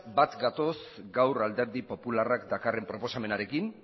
bat gatoz gaur alderdi popularrak dakarren proposamenarekin